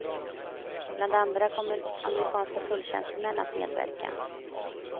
Bland andra kommer amerikanska tulltjänstemän att medverka.